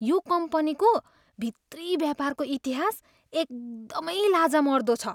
यो कम्पनीको भित्री व्यापारको इतिहास एकदमै लाजमर्दो छ।